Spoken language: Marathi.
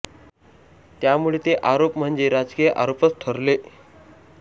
त्या मुळे ते आरोप म्हणजे राजकीय आरोपच ठरले